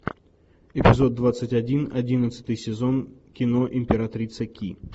эпизод двадцать один одиннадцатый сезон кино императрица ки